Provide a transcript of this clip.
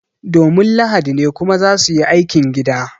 Domin lahadi ne kuma za su yi aikin gida